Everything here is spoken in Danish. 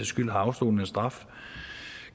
skyld har afsonet en straf